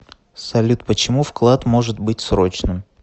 салют почему вклад может быть срочным